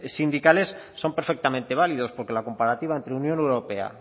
sindicales son perfectamente válidos porque la comparativa entre unión europea